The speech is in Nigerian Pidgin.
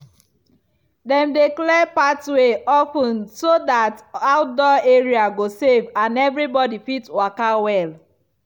dem dey clear pathway of ten so that outdoor area go safe and everybody fit waka well.